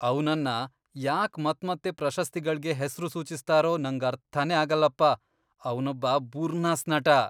ಅವ್ನನ್ನ ಯಾಕ್ ಮತ್ಮತ್ತೆ ಪ್ರಶಸ್ತಿಗಳ್ಗೆ ಹೆಸ್ರು ಸೂಚಿಸ್ತಾರೋ ನಂಗರ್ಥನೇ ಆಗಲ್ಲಪ. ಅವ್ನೊಬ್ಬ ಬುರ್ನಾಸ್ ನಟ.